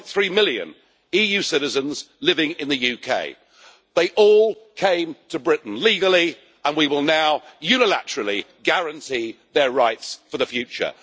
3.3 million EU citizens living in the UK, they all came to Britain legally and we will now unilaterally guarantee their rights for the future.